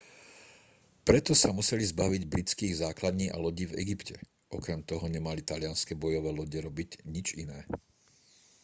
preto sa museli zbaviť britských základní a lodí v egypte okrem toho nemali talianske bojové lode robiť nič iné